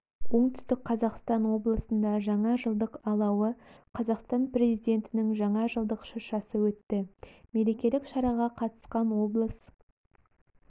оңтүстік қазақстан облысында жаңа жылдық алауы қазақстан президентінің жаңа жылдық шыршасы өтті мерекелік шараға қатысқан облыс